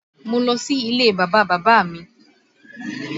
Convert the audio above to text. Mo lọ sí ilé Bàbá bàbá mi